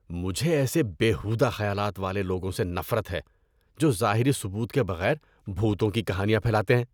مجھے ایسے بے ہودہ خیالات والے لوگوں سے نفرت ہے جو ظاہری ثبوت کے بغیر بھوتوں کی کہانیاں پھیلاتے ہیں۔